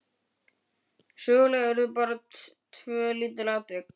Söguleg urðu bara tvö lítil atvik.